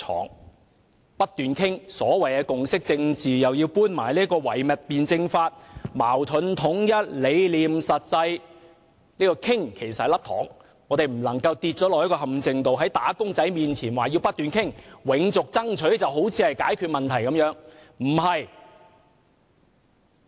陸議員不斷提及所謂的共識政治，又搬出唯物辯證法，討論矛盾與統一，理念與實際；這種討論其實是一顆"糖"，我們不能墮入陷阱，在"打工仔"面前說要不斷討論，永續爭取便好像是解決問題之道。